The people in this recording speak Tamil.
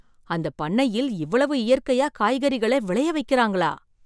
அந்தப் பண்ணையில் இவ்வளவு இயற்கையா காய்கறிகளை விளைய வைக்கிறாங்களா!